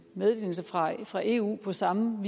meddelelserne fra fra eu på samme